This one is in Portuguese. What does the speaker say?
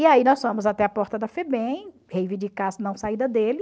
E aí nós fomos até a porta da Febem reivindicar a não saída dele.